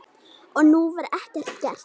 Og nú var ekkert gert.